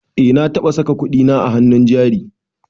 Eh na taɓa saka kudina a hannun jari